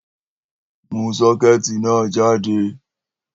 Mú sọ́kẹ́tì náà jáde!